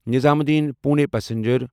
نظام الدین پُونے پسنجر